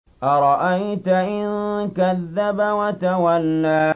أَرَأَيْتَ إِن كَذَّبَ وَتَوَلَّىٰ